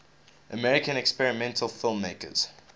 american experimental filmmakers